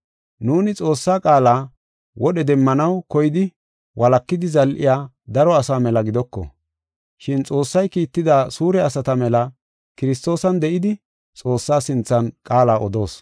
Nuuni Xoossaa qaala wodhe demmanaw koyidi walakidi zal7iya daro asaa mela gidoko. Shin Xoossay kiitida suure asata mela Kiristoosan de7idi Xoossaa sinthan qaala odoos.